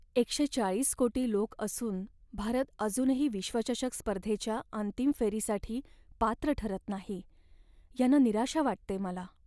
एकशे चाळीस कोटी लोक असून भारत अजूनही विश्वचषक स्पर्धेच्या अंतिम फेरीसाठी पात्र ठरत नाही, यानं निराशा वाटते मला.